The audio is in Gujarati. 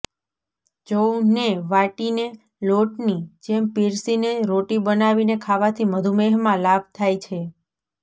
જૌ ને વાટીને લોટની જેમ પીસીને રોટી બનાવીને ખાવાથી મધુમેહમાં લાભ થાય છે